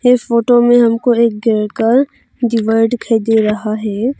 इस फोटो में एक घर का दीवार दिखाई दे रहा है।